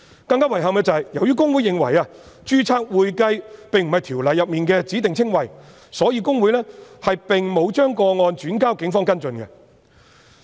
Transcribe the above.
更遺憾的是，由於公會認為"註冊會計"並非《條例》的指定稱謂，所以公會並沒有將有關個案轉交警方跟進。